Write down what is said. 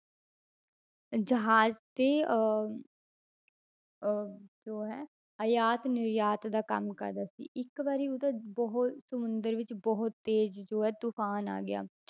ਜਹਾਜ਼ ਤੇ ਅਹ ਅਹ ਜੋ ਹੈ ਆਯਾਤ ਨਿਰਯਾਤ ਦਾ ਕੰਮ ਕਰਦਾ ਸੀ ਇੱਕ ਵਾਰੀ ਉਹਦਾ ਬਹੁਤ ਸਮੁੰਦਰ ਵਿੱਚ ਬਹੁਤ ਤੇਜ਼ ਜੋ ਹੈ ਤੂਫ਼ਾਨ ਆ ਗਿਆ,